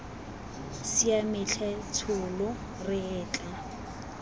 siame tlhe tsholo re etla